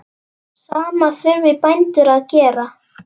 Sama þurfi bændur að gera.